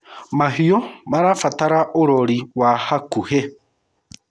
mahiũ irabatara urori wa hakuihi